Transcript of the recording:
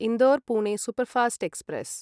Indore Pune superfast express